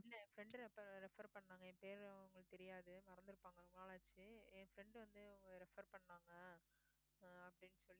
இல்ல என் friend refe~ refer பண்ணாங்க என் பேரு அவங்களுக்கு தெரியாது தெரியாது மறந்துருப்பாங்க ரொம்ப நாளாச்சு என் friend வந்து refer பண்ணாங்க அஹ் அப்படினு சொல்லி